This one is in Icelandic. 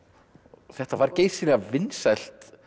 þetta var geysilega vinsælt